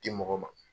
Di mɔgɔ ma